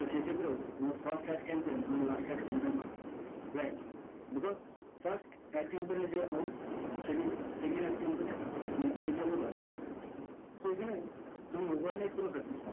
তাহলে সেক্ষত্রেও তোমার first ad campaign and last ad campaign হয় friends because first ad campaign এর যে output সেটি second ad campaign এর input হিসেবে ব্যবহার করে so এখানে তোমার overnight কোনো success হয় না